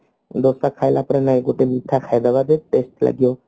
ଦୋସା ଖାଇଲା ପରେ ନୁହଁ ଗୋଟେ ମିଠା ଖାଇଦେବ ଯୋଉ test ଲାଗିବ